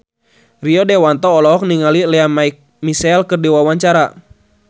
Rio Dewanto olohok ningali Lea Michele keur diwawancara